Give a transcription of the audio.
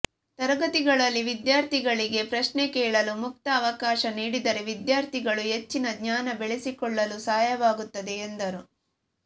ತರಗತಿಗಳಲ್ಲಿ ವಿದ್ಯಾರ್ಥಿಗಳಿಗೆ ಪ್ರಶ್ನೆ ಕೇಳಲು ಮುಕ್ತ ಅವಕಾಶ ನೀಡಿದರೆ ವಿದ್ಯಾರ್ಥಿಗಳು ಹೆಚ್ಚಿನ ಜ್ಞಾನ ಬೆಳೆಸಿಕೊಳ್ಳಲು ಸಹಾಯವಾಗುತ್ತದೆ ಎಂದರು